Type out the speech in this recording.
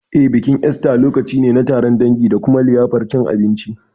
Eh, bikin Esta lokaci ne na taron dangi da kuma liyafar cin abinci.